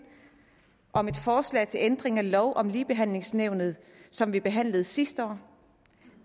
om et forslag til ændring af lov om ligebehandlingsnævnet som vi behandlede sidste år